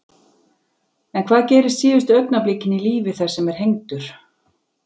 En hvað gerist síðustu augnablikin í lífi þess sem er hengdur?